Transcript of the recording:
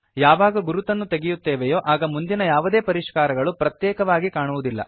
ಯಾವಾಗ ಗುರುತನ್ನು ತೆಗೆಯುತ್ತೇವೆಯೋ ಆಗ ಮುಂದಿನ ಯಾವುದೇ ಪರಿಷ್ಕಾರಗಳು ಪ್ರತ್ಯೇಕವಾಗಿ ಕಾಣಿಸುವುದಿಲ್ಲ